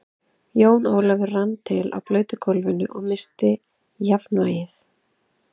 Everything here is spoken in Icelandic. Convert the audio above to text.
Jón Ólafur rann til á blautu gólfinu og missti jafnvlgið.